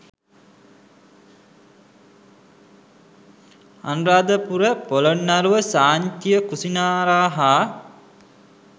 අනුරාධපුර ‍පොළොන්නරුව සාංචිය කුසිනාරා හා